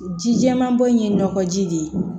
Ji jɛman bɔn in ye nɔgɔji de ye